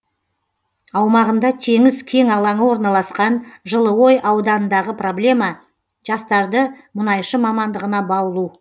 аумағында теңіз кен алаңы орналасқан жылыой ауданындағы проблема жастарды мұнайшы мамандығына баулу